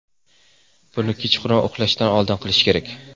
Buni kechqurun uxlashdan oldin qilish kerak.